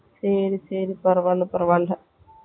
செரி செரி பரவாயில்ல பரவாயில்ல